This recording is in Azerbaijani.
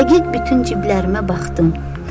Dəqiq bütün ciblərimə baxdım.